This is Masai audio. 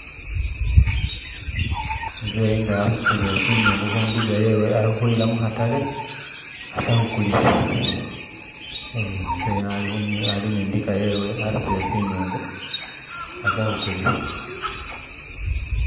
Umuzeyi nga asutile zinyungu ku diga yewe alikuyila mukataale asakukuliisa, ehe Umuzeyi nga asutile zinyungu ku diga yewe asakukuliisa